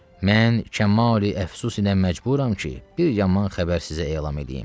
Mən kəmal əfsus ilə məcburam ki, bir yaman xəbər sizə elam eləyim.